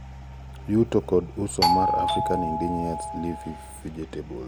yuto kod uso mar African Indigenous Leafy Vegetables